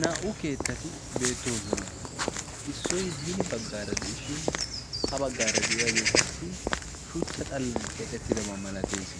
naa"u keettati beettoosona issoi hini baggaara de'ishin ha baggaara de'iyaagee qassi shuchcha xallan keaxettidabaa malatees